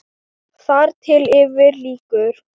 Þar til yfir lýkur.